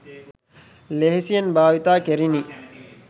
ලෙහෙසියෙන් භාවිතා කෙරිණි.